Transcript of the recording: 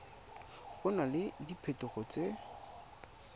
go na le diphetogo tse